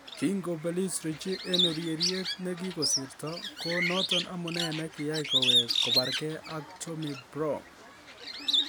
Kingobelis Ritchie en ureriet ne kigosirto ko noton amune ne kiyai kowek kobargee ak Tommy Browne.